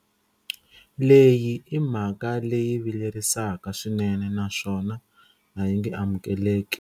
Leyi i mhaka leyi vilerisaka swinene naswona a yi nge amukeleki.